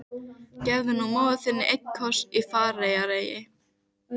Hann er misjafnlega sár og hvimleiður, en alltaf nálægur.